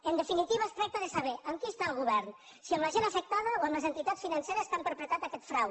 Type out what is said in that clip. en definitiva es tracta de saber amb qui està el govern si amb la gent afectada o amb les entitats financeres que han perpetrat aquest frau